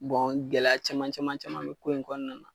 gɛlɛya caman caman caman be ko in kɔnɔna